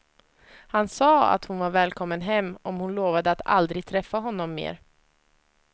Han sa att hon var välkommen hem, om hon lovade att aldrig träffa honom mer.